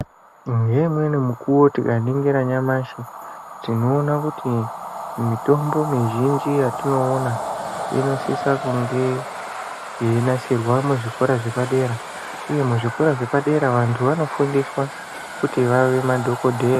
Ngeimweni mukuwo tikaningira nyamashi tinoona kuti mitombo mizhinji yetinoona inosisa kunge yeinasirwa muzvikora zvepadera, uye muzvikora zvepadera vanthu vanofundiswa kuti vave madhokodheya.